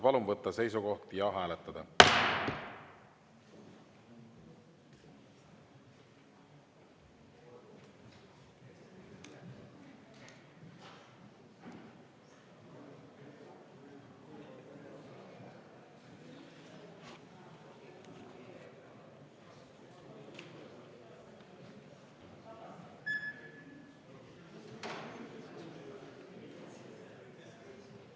Palun võtta seisukoht ja hääletada!